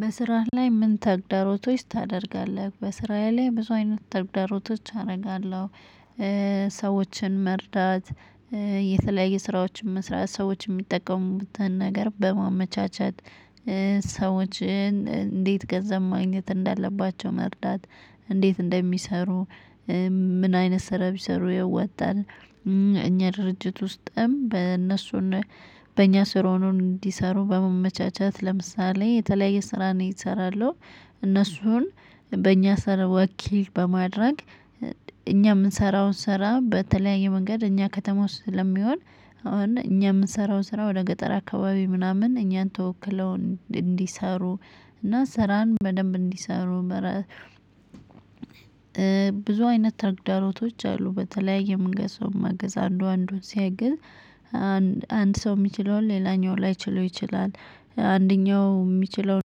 በስራህ ላይ ምን ተግዳሮቶች ታደርጋለህ? በስራዬ ላይ ብዙ አይነት ተግዳሮቶች አደርጋለሁ። ሰዎችን መርዳት የተለያየ ስራዎችን መስራት ሰዎችን የሚጠቀሙበትን ነገር በማመቻቸት። ሰዎችን እንዴት ገንዘብ ማግኘት እንዳለባቸው መርዳት እንዴት እንደሚሰሩ ምን አይነት ስራ ቢሰሩ ያወጣል። እኛ ድርጅት ውስጥም በእነሱና በእኛ ስር ሆኖን እንዲሰሩ በመመቻቻት ለምሳሌ የተለያየ ስራ ነው የሰራለው። እነሱን በእኛ ሰር ወኪል በማድረግ እኛ የምንሰራውን ስራ በተለያየ መንገድ እኛ ከተማ ውስጥ ስለሚሆን። እኛ የምንሰራውን ስራ ወደ ገጠር አካባቢ ምናምን እኛን ተወክለው እንዲሰሩ እና ስራን በደንብ እንዲሰሩ መረ። ብዙ አይነት ተግዳሮቶች አሉ በተለያየ መንገድ ሰው መገዝ አንዱ አንዱን ሲያግዝ። አንድ ሰው የሚችለውን ሌላኛው ላይችለው ይችላል። አንደኛው የሚችለውን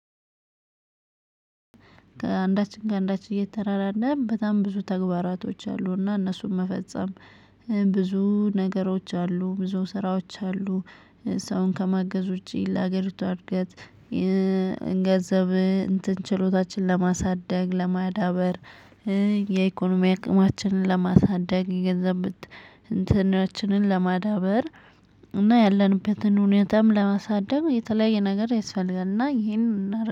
አንዳችን ከአንዳችን እየተራራን በጣም ብዙ ተግባራቶች አሉ። እና እነሱን መፈጸም። ብዙ ነገሮች አሉ ብዙ ስራዎች አሉ። ሰውን ከማገዝ ውጪ ለሀገሪቱ እድገት። ገንዘብ እንትን ችሎታችን ለማሳደግ ለማዳበር። የኢኮኖሚ አቅማችንን ለማሳደግ ገንዘብ እንትናችንን ለማዳበር። እና ያለንበትን ሁኔታም ለማሳደግ የተለያየ ነገር ይስፈልጋል እና ይሄንን